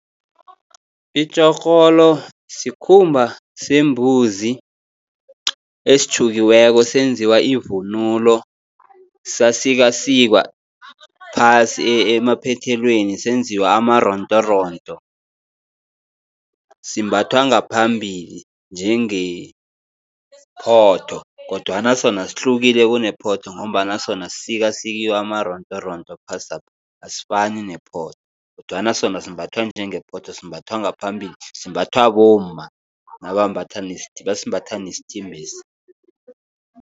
Itjhorholo sikhumba sembuzi esitjhukiweko senziwa ivunulo, sasikwasikwa phasi emaphethelweni senziwa amarontoronto. Simbathwa ngaphambili njengephotho, kodwana sona sihlukile kunephotho, ngombana sona sisikasikiwe amarontoronto phasapha asifani nephotho, kodwana sona simbathwa njengephotho, simbathwa ngaphambili, simbathwa bomma basimbatha nesithimbesi.